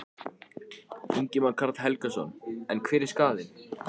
Ingimar Karl Helgason: En hver er skaðinn?